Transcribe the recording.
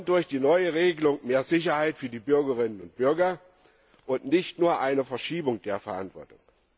Durch die neue Regelung wollen wir mehr Sicherheit für die Bürgerinnen und Bürger und nicht nur eine Verschiebung der Verantwortung.